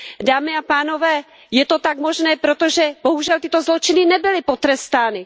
Dámy a pánové, je to tak možné proto, že, bohužel, tyto zločiny nebyly potrestány.